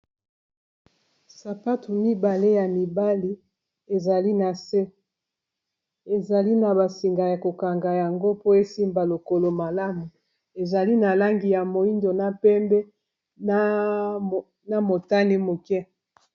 Sapatu mibale ya mibali ezali na se ezali na ba singa ya kokanga yango po esimba lokolo malamu ezali na langi ya moyindo na pembe na motane moke.